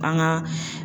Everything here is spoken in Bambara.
Kan ga